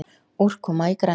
Úrkoma í grennd.